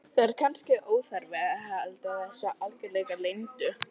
Það er kannski óþarfi að vera að halda þessu algerlega leyndu.